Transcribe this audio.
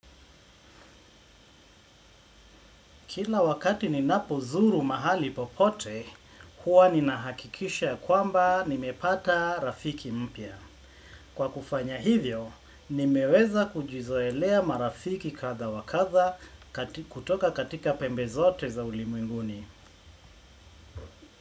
Kila wakati ninapo zuru mahali popote, huwa ninahakikisha ya kwamba nimepata rafiki mpya. Kwa kufanya hivyo, nimeweza kujizoelea marafiki kadha wa kadha kutoka katika pembe zote za ulimwenguni.